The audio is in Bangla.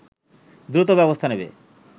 দ্রুত ব্যবস্থা নেবে